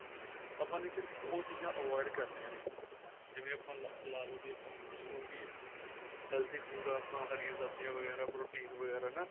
ਆਪਾਂ ਨੇ ਸਿਰਫ਼ ਉਹ ਚੀਜ਼ਾਂ avoid ਕਰਨੀਆਂ ਨੇ ਜਿਵੇਂ ਆਪਾਂ ਲਾਲੋ ਆਪਾਂ ਜੋ ਵੀ healthy food ਆ ਆਪਾਂ ਹਰੀਆਂ ਸਬਜੀਆਂ ਵਗੈਰਾ protein ਵਗੈਰਾ ਹੈਨਾ